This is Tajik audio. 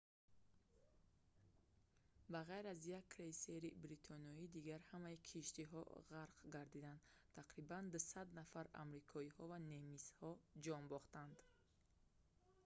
ба ғайр аз як крейсери бритониё дигар ҳамаи киштиҳо ғарқ гардиданд тақрибан 200 нафар амрикоиҳо ва немисҳо ҷон бохтанд